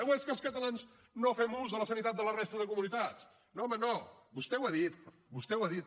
o és que els catalans no fem ús de la sanitat de la resta de comunitats no home no vostè ho ha dit vostè ho ha dit